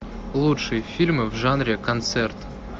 лучшие фильмы в жанре концерт